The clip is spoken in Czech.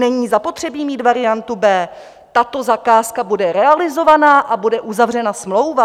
Není zapotřebí mít variantu B, tato zakázka bude realizovaná a bude uzavřena smlouva.